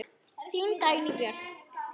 Þín Dagný Björk.